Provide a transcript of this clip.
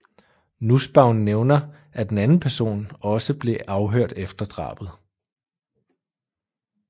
Nussbaum nævner at en anden person også ble afhørt efter drabet